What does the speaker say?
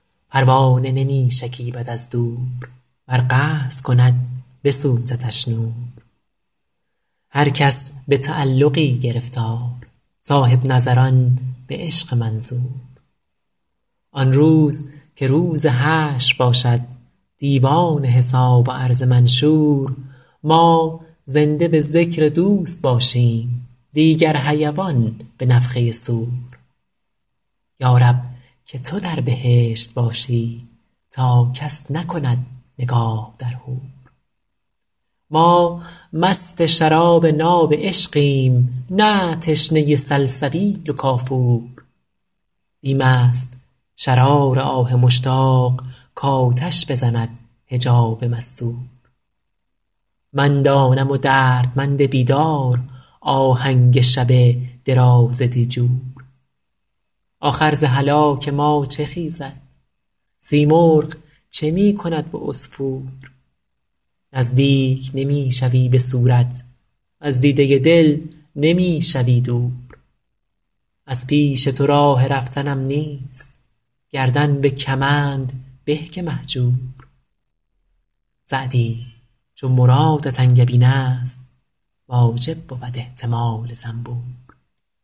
پروانه نمی شکیبد از دور ور قصد کند بسوزدش نور هر کس به تعلقی گرفتار صاحب نظران به عشق منظور آن روز که روز حشر باشد دیوان حساب و عرض منشور ما زنده به ذکر دوست باشیم دیگر حیوان به نفخه صور یا رب که تو در بهشت باشی تا کس نکند نگاه در حور ما مست شراب ناب عشقیم نه تشنه سلسبیل و کافور بیم است شرار آه مشتاق کآتش بزند حجاب مستور من دانم و دردمند بیدار آهنگ شب دراز دیجور آخر ز هلاک ما چه خیزد سیمرغ چه می کند به عصفور نزدیک نمی شوی به صورت وز دیده دل نمی شوی دور از پیش تو راه رفتنم نیست گردن به کمند به که مهجور سعدی چو مرادت انگبین است واجب بود احتمال زنبور